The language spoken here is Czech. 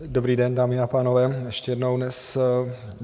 Dobrý den, dámy a pánové, ještě jednou dnes.